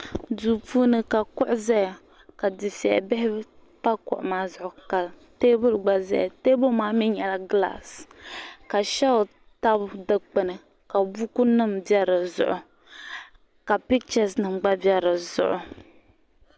duu puuni ka kuɣu ʒɛya ka dufɛli bihi pa kuɣu maa zuɣu ka teebuli gba ʒɛya teebuli maa mii nyɛla gilaas ka sheelf tabi dikpuni ka buku nim bɛ dizuɣu ka pichɛs nim gba bɛ dizuɣu